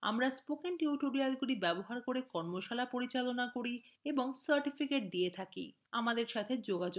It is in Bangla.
আমরা spoken টিউটোরিয়ালগুলি ব্যবহার করে কর্মশালা পরিচালনা করি এবং সার্টিফিকেটগুলি দিযে থাকি আমাদের সাথে যোগাযোগ করুন